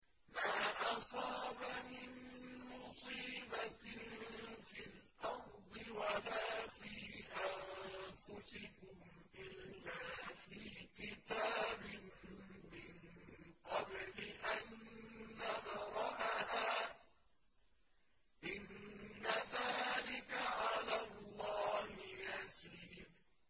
مَا أَصَابَ مِن مُّصِيبَةٍ فِي الْأَرْضِ وَلَا فِي أَنفُسِكُمْ إِلَّا فِي كِتَابٍ مِّن قَبْلِ أَن نَّبْرَأَهَا ۚ إِنَّ ذَٰلِكَ عَلَى اللَّهِ يَسِيرٌ